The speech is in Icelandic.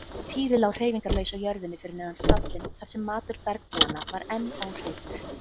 Týri lá hreyfingarlaus á jörðinni fyrir neðan stallinn þar sem matur bergbúanna var enn óhreyfður.